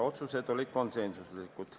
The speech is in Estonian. Otsused olid konsensuslikud.